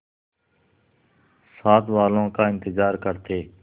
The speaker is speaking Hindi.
साथ वालों का इंतजार करते